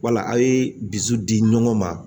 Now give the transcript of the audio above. Wala a' ye dusu di ɲɔgɔn ma